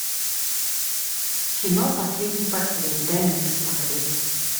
кино последний портрет дай мне посмотреть